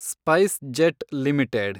SpiceJet limited